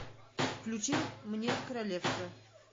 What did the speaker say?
включи мне королевство